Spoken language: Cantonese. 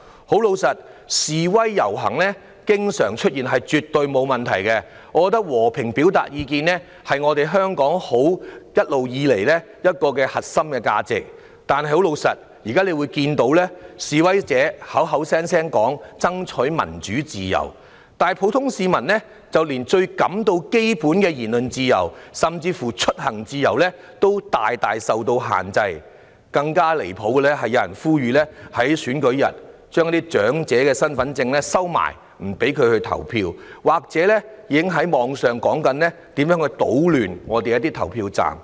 坦白說，示威遊行經常出現，是絕對沒有問題的，我認為和平表達意見的權利，是香港一直以來的核心價值，但現在我們卻看到，示威者口口聲聲說爭取民主自由，但普通市民連最基本的言論自由，甚至出行自由也受到很大的限制，更離譜的是有人呼籲在選舉日將長者的身份證收藏起來，不讓他們投票，而互聯網上已有言論談及如何搗亂投票站。